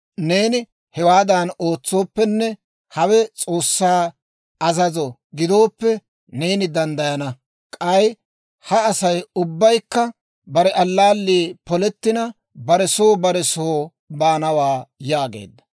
Neeni hewaadan ootsooppenne hawe S'oossaa azazo gidooppe, neeni danddayana. K'ay ha Asay ubbaykka bare allaallii polettina, bare soo bare soo baanawaa» yaageedda.